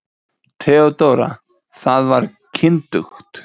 THEODÓRA: Það var kyndugt.